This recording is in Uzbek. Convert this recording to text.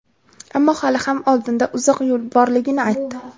ammo hali ham oldinda uzoq yo‘l borligini aytdi.